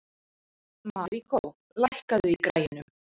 Maríkó, lækkaðu í græjunum.